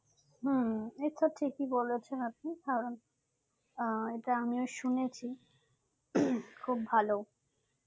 হম এইতো ঠিকই বলেছেন আপনি কারণ এটা আমিও শুনেছি খুব ভালো